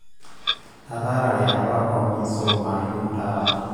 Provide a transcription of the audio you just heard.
ataarare apa oo misumayu taa